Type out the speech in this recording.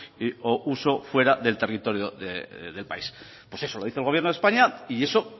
o uso fuera del territorio del país pues eso lo dice el gobierno de españa y eso